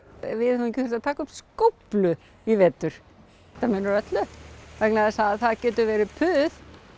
við höfum ekki þurft að taka upp skóflu í vetur þetta munar öllu því það getur verið puð